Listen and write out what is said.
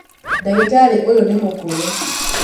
Ndagĩtarĩ ũyũ nĩ mũkũrũ